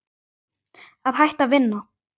Að hætta að vinna?